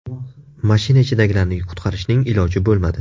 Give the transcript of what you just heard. Mashina ichidagilarni qutqarishning iloji bo‘lmadi.